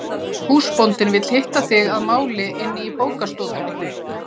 Húsbóndinn vill hitta þig að máli inni í bókastofunni.